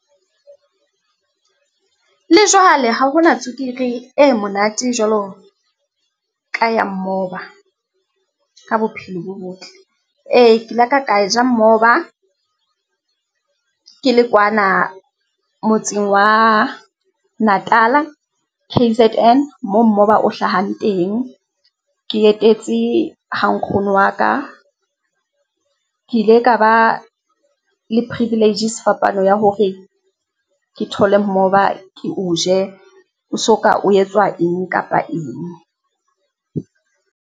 Le jwale ha ho na tswekere e monate jwalo ka ya mmoba ka bophelo bo botle. Ee, ke laka ka ja mmoba ke le kwana motseng wa Natal K_Z_N mo mmoba o hlahang teng. Ke etetse ha nkgono wa ka. Ke ile ka ba le privilege sefapano ya hore ke thole mmoba, ke o je, o soka o etswa eng kapa eng.